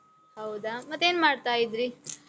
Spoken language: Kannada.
ಹೌದ? ಮತ್ತೇನ್ ಮಾಡ್ತಾ ಇದ್ರಿ?